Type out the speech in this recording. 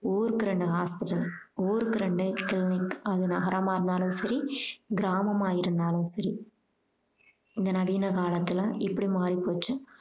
ஊருக்கு ரெண்டு hospital ஊருக்கு ரெண்டு clinic அது நகரமாக இருந்தாலும் சரி கிராமமா இருந்தாலும் சரி இந்த நவீன காலத்துல இப்படி மாறி போச்சு